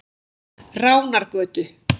Ránargötu